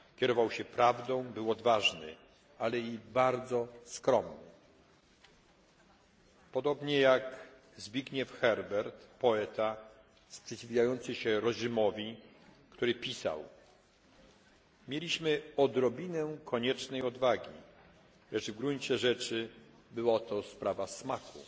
Kierował się prawdą, był odważny, ale i bardzo skromny. Podobnie jak Zbigniew Herbert, poeta sprzeciwiający się reżimowi, który pisał Mieliśmy odrobinę koniecznej odwagi, lecz w gruncie rzeczy była to sprawa smaku